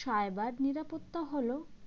cyber নিরাপত্তা হল